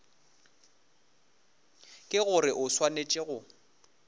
ke gore o swanetše go